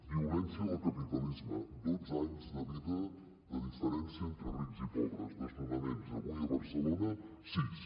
violència del capitalisme dotze anys de vida de diferència entre rics i pobres desnonaments avui a barcelona sis